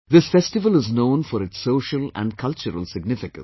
This festival is known for its social and cultural significance